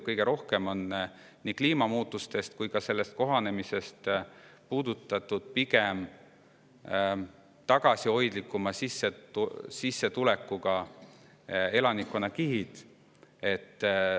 Kõige rohkem on nii kliimamuutustest kui ka sellega kohanemisest puudutatud pigem tagasihoidlikuma sissetulekuga elanikkonnakihid.